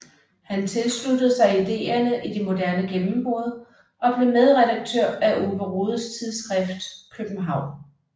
Han tilsluttede sig ideerne i Det Moderne Gennembrud og blev medredaktør af Ove Rodes tidsskrift København